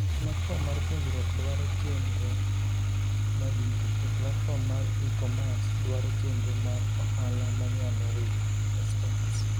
Platform mar puonjruok dwaro chendro madito, to platform mar e-commerce dwaro chendro mar ohala manyalo riwo aspects.